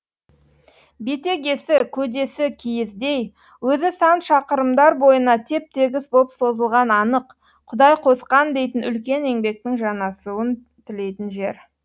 бетегесі көдесі киіздей өзі сан шақырымдар бойына теп тегіс боп созылған анық құдай қосқан дейтін үлкен еңбектің жанасуын тілейтін жер